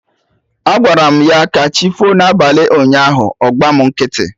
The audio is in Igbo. Agwaram ya 'kachifo' na abalị ụnyaahụ, ọ gba mụ nkịtị